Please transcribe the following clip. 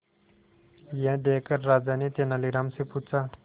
यह देखकर राजा ने तेनालीराम से पूछा